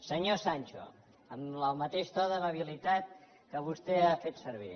senyor sancho amb el mateix to d’amabilitat que vostè ha fet servir